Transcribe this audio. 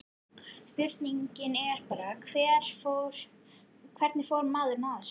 Spurningin er bara, hvernig fór maðurinn að þessu?